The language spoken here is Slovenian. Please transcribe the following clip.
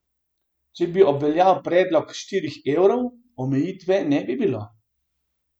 Če bi obveljal predlog štirih evrov, omejitve ne bi bilo!